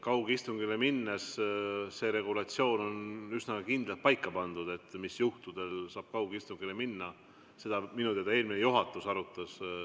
Kaugistungile mineku regulatsioon on üsna kindlalt paika pandud, mis juhtudel saab kaugistungile minna, seda minu teada arutas eelmine juhatus.